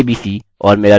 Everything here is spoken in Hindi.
इसे रजिस्टर करें